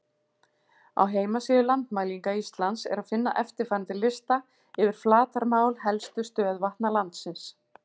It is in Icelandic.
Á heimasíðu Landmælinga Íslands er að finna eftirfarandi lista yfir flatarmál helstu stöðuvatna landsins: